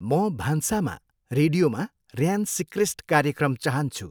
म भान्सामा रेडियोमा ऱ्यान सिक्रेस्ट कार्यक्रम चाहन्छु।